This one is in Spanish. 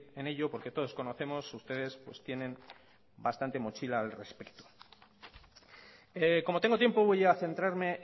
en ello porque todos conocemos ustedes pues tienen bastante mochila al respecto como tengo tiempo voy a centrarme